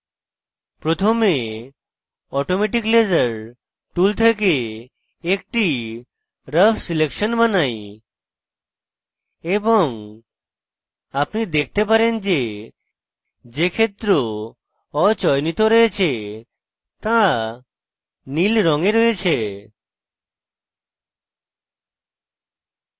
প্রথমে automatic laser tool থেকে একটি রাফ selection বানাই এবং আপনি দেখতে পারেন যে যে ক্ষেত্র অচয়নিত রয়েছে তা নীল রঙে রয়েছে